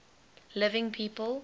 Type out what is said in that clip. living people